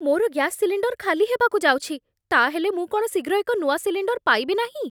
ମୋର gas cylinder ଖାଲି ହେବାକୁ ଯାଉଛି। ତା'ହେଲେ ମୁଁ କ'ଣ ଶୀଘ୍ର ଏକ ନୂଆ ସିଲିଣ୍ଡର୍ ପାଇବି ନାହିଁ ?